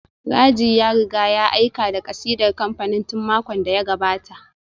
Raji ya riga ya aika da kasidar kamfanin tun makon da ya gabata